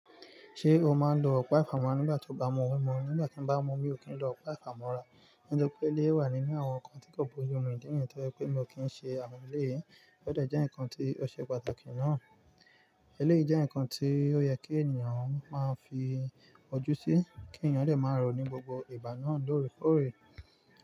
Ṣé o máa ń lo ọ̀pá ìfámọ́ nígbà tí o bá mú omi mu? Nígbà tí mo bá mú omi, mò kí n lo ọ̀pá ìfámọ́ rà. Nítorí pé iléyì wà nínú àwọn ǹkan tí kò bójú mu, ìdí nìyẹn tó jẹ́ pé mi ò kí ń ṣe àwọn eléyìí. Ó dẹ̀ jẹ́ ǹkan tí ó ṣe pàtàkì ná. Iléyì jẹ́ ǹkan tí ó yẹ kí ènìyàn máa fi ojú sí, kí ènìyàn lè máa rọ̀ ní gbogbo ìgbà náà lóòrèkóòrè.